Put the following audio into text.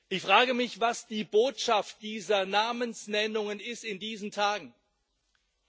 Ich frage mich, was die Botschaft dieser Namensnennungen in diesen Tagen ist.